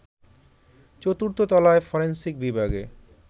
চতুর্থ তলায় ফরেনসিক বিভাগে